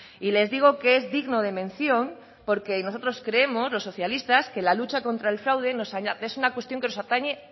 les digo que es digno de mención porque nosotros los socialistas creemos que la lucha contra el fraude es una cuestión que nos atañe